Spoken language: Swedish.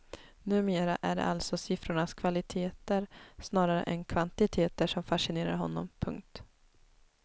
Numera är det alltså siffrornas kvaliteter snarare än kvantiteter som fascinerar honom. punkt